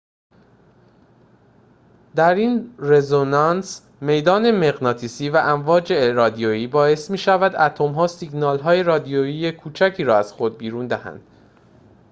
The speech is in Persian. در این رزونانس میدان مغناطیسی و امواج رادیویی باعث می‌شود اتم‌ها سیگنال‌های رادیویی کوچکی را از خود بیرون دهند